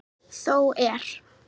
Þó er.